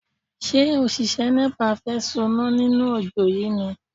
Ṣé òṣìṣẹ́ Nepa fẹ́ soná nínú ojó yìí ni?